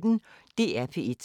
DR P1